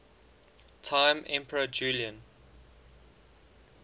time emperor julian